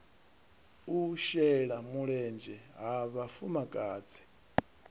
u shela mulenzhe ha vhafumakadzi